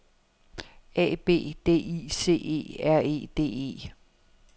A B D I C E R E D E